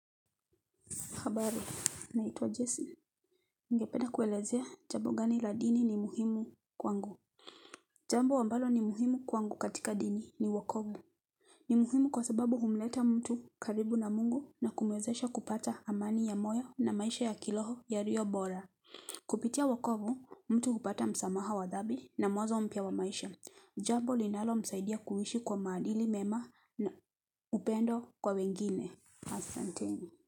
Habari, naitwa Jesse. Ningependa kuwaelezea, jambo gani la dini ni muhimu kwangu. Jambo ambalo ni muhimu kwangu katika dini ni uokovu. Ni muhimu kwa sababu humleta mtu karibu na Mungu na kumwezesha kupata amani ya moyo na maisha ya kiroho yaliyo bora. Kupitia uokovu, mtu hupata msamaha wa dhambi na mwanzo mpya wa maisha. Jambo linalomsaidia kuishi kwa maadili mema na upendo kwa wengine. Asanteni.